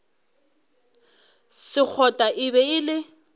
sekgotla e be e le